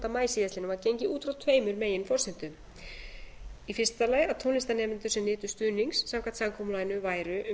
maí síðastliðinn var gengið út frá tveimur meginforsendum í fyrsta lagi að tónlistarnemendur sem nytu stuðnings samkvæmt samkomulaginu væru um það bil sjö hundruð